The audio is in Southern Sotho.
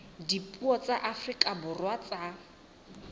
dipuo tsa afrika borwa tsa